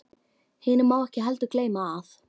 Hinu má ekki heldur gleyma, að